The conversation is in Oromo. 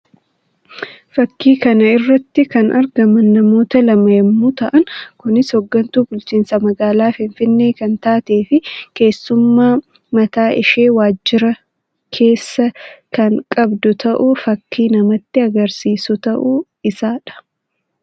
Fakkii kana irratti kan argaman namoota lama yammuu ta'an; kunis hoggantuu bulchiinsa magaalaa Finfinnee kan taatee fi keessummaa mataa ishee waajjira keessaa kan qabdu ta'uu fakkii namatti agarsiisuu ta'uu isaa dha.